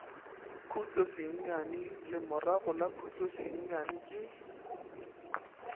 khutlosenyane lemorago la khutlosenyane ke